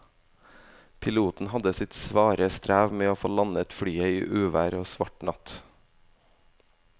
Piloten hadde sitt svare strev med å få landet flyet i uvær og svart natt.